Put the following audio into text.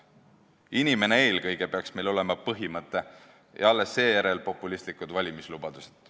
"Inimene eelkõige!" peaks olema meie juhtmõte, mitte populistlikud valimislubadused.